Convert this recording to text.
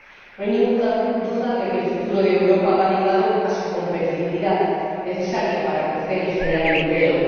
No hay ninguna duda de que el futuro de Europa va ligado a su competitividad, necesaria para crecer y generar empleo.